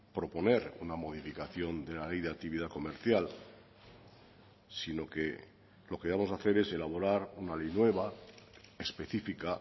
proponer una modificación de la ley de actividad comercial sino que lo que vamos a hacer es elaborar una ley nueva específica